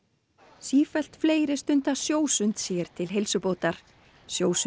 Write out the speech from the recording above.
sífellt fleiri stunda sjósund sér til heilsubótar